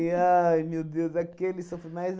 ai, meu Deus, aquele sofrime, mas